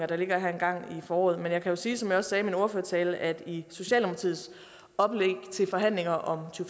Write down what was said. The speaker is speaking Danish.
der ligger her engang i foråret men jeg kan jo sige som jeg også sagde i min ordførertale at i socialdemokratiets oplæg til forhandlinger om to